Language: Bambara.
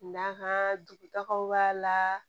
N'a ka dugutagaw b'a la